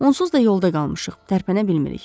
Onsuz da yolda qalmışıq, tərpənə bilmirik."